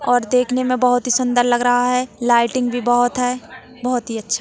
और देखने में बहोत ही सुन्दर लग रहा है लाइटिंग भी बहोत है बहुत ही अच्छा--